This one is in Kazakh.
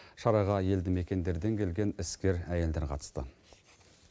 шараға елді мекендерден келген іскер әйелдер қатысты